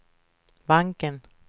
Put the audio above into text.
banken